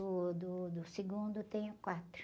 o do, do segundo tenho quatro.